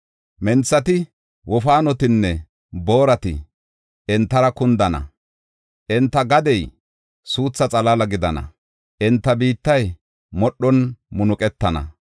Menthati, wofaanotinne boorati entara kundana. Enta gadey suutha xalaala gidana; enta biittay modhon munuqetana.